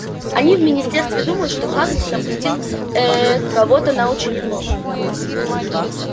они в министерстве думают что хагрид напустил ээ кого-то на учеников